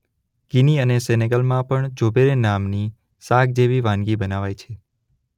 Guinea અને સેનેગલમાં પણ જુબેરે નામની શાક જેવા વાનગી બનાવાય છે.